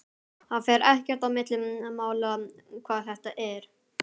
Það fer ekkert á milli mála hvar þetta er.